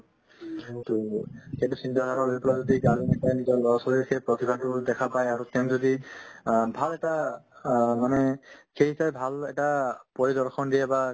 সেইটো চিন্তা ধাৰা লৈ পেলাই যদি এতিয়া আৰু নিজৰ ল'ৰা-ছোৱালীৰ সেই প্ৰতিভাতো দেখা পাই আৰু তেওঁ যদি অ ভাল এটা স মানে ভাল এটা পৰিদৰ্শন দিয়ে বা